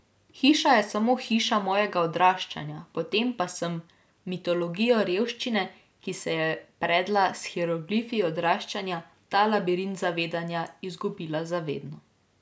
Hiša je samo hiša mojega odraščanja, potem pa sem mitologijo revščine, ki se je predla s hieroglifi odraščanja, ta labirint zavedanja, izgubila za vedno.